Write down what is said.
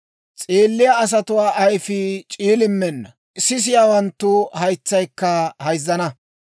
S'eelliyaa asatuu ayfii c'iilimmenna; sisiyaawanttu haytsaykka hayzzana.